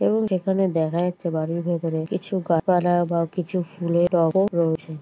এবং যেখানে দেখা যাচ্ছে বাড়ির ভেতরে কিছু গা পালা বা কিছু ফুলের টবও রয়েছে।